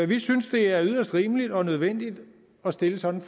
vi synes det er yderst rimeligt og nødvendigt at stille sådan